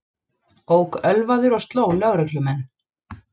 Ók ölvaður og sló lögreglumenn